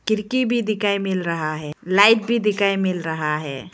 खिड़की भी दिखाई मिल रहा है लाइट भी दिखाई मिल रहा है।